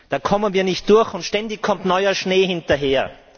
Da kommen wir nicht durch, und ständig kommt neuer Schnee hinterher.